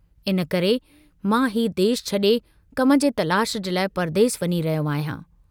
इन्हीअ करे मां हीउ देश छड़े कम जे तलाश जे लाइ परदेस वञी रहियो आहियां।